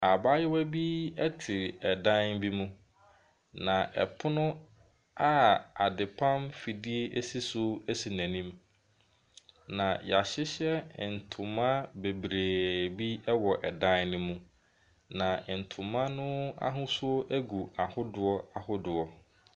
Abaayewa bi ɛte ɛdan bi mu. Na ɛpono a adepam fidie esi so esi n'anim. Na yɛahyehyɛ ntoma bebree bi ɛwɔ dan no mu. Na ntoma n'ahosuo egu ahodoɔ ahodoɔ.